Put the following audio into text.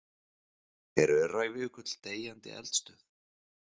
Er Öræfajökull deyjandi eldstöð?